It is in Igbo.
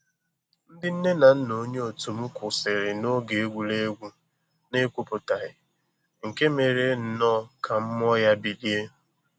Ndị nne na nna onye otum kwụsịrị na oge egwuregwu na ekwuputaghị, nke mere nnọọ ka mmụọ ya bilie